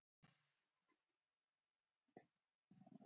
Pínu spes.